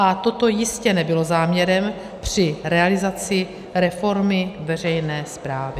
A toto jistě nebylo záměrem při realizaci reformy veřejné správy.